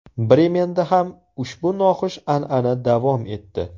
Bremenda ham ushbu noxush an’ana davom etdi.